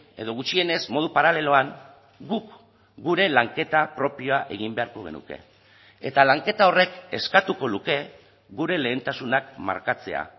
edo gutxienez modu paraleloan guk gure lanketa propioa egin beharko genuke eta lanketa horrek eskatuko luke gure lehentasunak markatzea